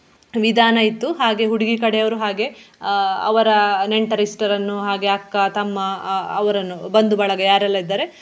ವಿಧಾನ ಇತ್ತು ಹಾಗೆ ಹುಡುಗಿ ಕಡೆಯವರು ಹಾಗೆ ಆಹ್ ಅವರ ನೆಂಟರಿಷ್ಟರನ್ನು ಹಾಗೆ ಅಕ್ಕ, ತಮ್ಮ ಆಹ್ ಅವರನ್ನು ಬಂದು ಬಳಗ ಯಾರೆಲ್ಲ ಇದ್ದಾರೆ.